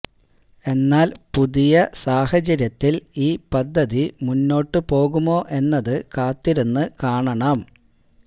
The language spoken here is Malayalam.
എന്നാല് പുതിയ സാഹചര്യത്തില് ഈ പദ്ധതി മുന്നോട്ട് പോകുമോ എന്നത് കാത്തിരുന്ന് കാണണം